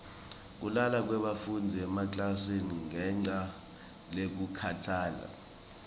kulala kwebafundzi emaklasini ngenca yekukhatsala